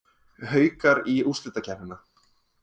Haukar í úrslitakeppnina